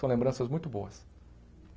São lembranças muito boas.